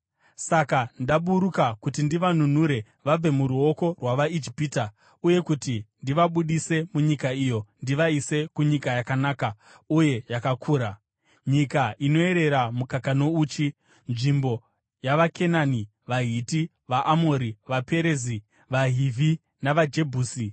Saka ndaburuka kuti ndivanunure vabve muruoko rwavaIjipita uye kuti ndivabudise munyika iyo ndivaise kunyika yakanaka uye yakakura, nyika inoyerera mukaka nouchi, nzvimbo yavaKenani, vaHiti, vaAmori, vaPerezi, vaHivhi navaJebhusi.